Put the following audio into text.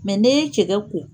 Mɛ ni ye cɛkɛ ko